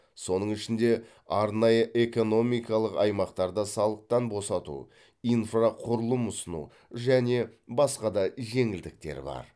соның ішінде арнайы экономикалық аймақтарда салықтан босату инфрақұрылым ұсыну және басқа да жеңілдіктер бар